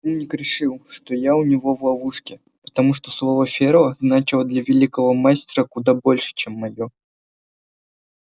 этот умник решил что я у него в ловушке потому что слово ферла значило для великого мастера куда больше чем моё